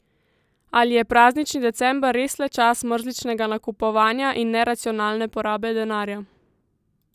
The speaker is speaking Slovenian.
Ali je praznični december res le čas mrzličnega nakupovanja in neracionalne porabe denarja?